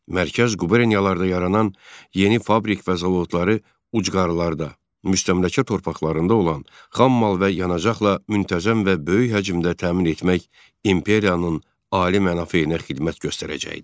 Mərkəz quberniyalarda yaranan yeni fabrik və zavodları ucqarlarda, müstəmləkə torpaqlarında olan xam mal və yanacaqla müntəzəm və böyük həcmdə təmin etmək imperiyanın ali mənafeyinə xidmət göstərəcəkdi.